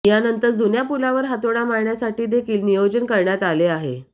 यानंतर जुन्या पुलावर हातोडा मारण्यासाठीदेखील नियोजन करण्यात आले आहे